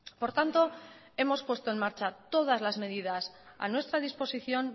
por tanto hemos puesto en marcha todas las medidas a nuestra disposición